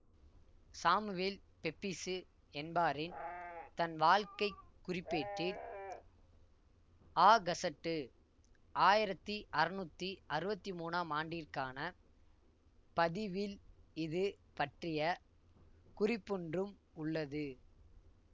Samuel Pepys என்பாரின் தன்வாழ்க்கைக் குறிப்பேட்டில் ஆகசட்டு ஆயிரத்தி அறுநூத்தி அறுவத்தி மூனாம் ஆண்டிற்கான பதிவில் இது பற்றிய குறிப்பொன்றும் உள்ளது